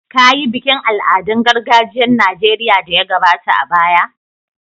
Kayi bikin al'adun gargajiyar Nijeriya da ya gabata a baya.